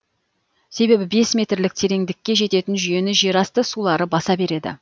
себебі бес метрлік тереңдікке жететін жүйені жерасты сулары баса береді